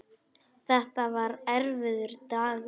Þetta var erfiður dagur.